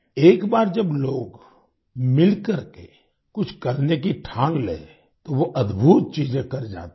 एक बार जब लोग मिलकर के कुछ करने की ठान लें तो वो अद्भुत चीजें कर जाते हैं